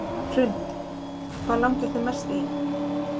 Hrund: Hvað langar þig mest í?